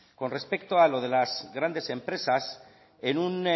con respecto a lo de las grandes empresas en un